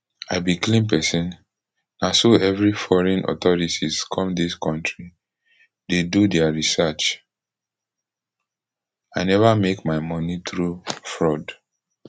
i be clean pesin na so every foreign authorities come dis kontri dey do dia research i neva make my moni thru fraud